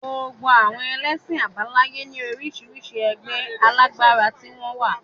Gbogbo àwọn ẹlẹ́sìn àbáláyé ní orísirísi ẹgbẹ́ alágbára tí wọ́n wà